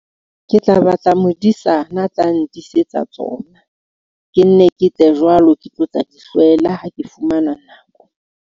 Ke tla batla modisana a tla ndisetsa tsona. Ke nne ke tle jwalo, ke tlo tla di hlwela ha ke fumana nako.